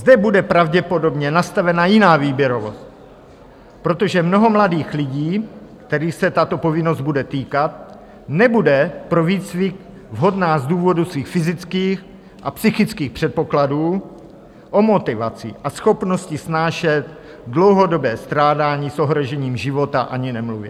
Zde bude pravděpodobně nastavena jiná výběrovost, protože mnoho mladých lidí, kterých se tato povinnost bude týkat, nebude pro výcvik vhodná z důvodu svých fyzických a psychických předpokladů, o motivaci a schopnosti snášet dlouhodobé strádání s ohrožením života ani nemluvě.